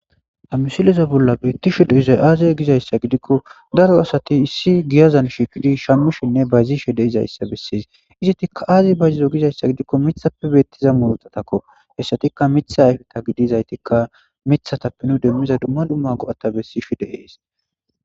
Ha missileza bolla bettishe dizzayi azze gizzayisa gikko daro asati issi giyazzan shiqqidi shammishenne bayizishe dizzayisa besses izeti azzi bayzizo giiko miththappe bettiza murutatako hessatika miththa ayiffe gidizayitika miththa nu demiza duma duma go'ata blesses.